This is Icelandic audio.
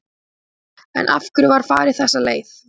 En af hverju var farið þessa leið?